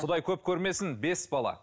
құдай көп көрмесін бес бала